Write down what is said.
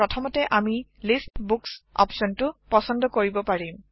প্ৰথমতেআমি list books অপচনটো পচন্দ কৰিব পাৰিম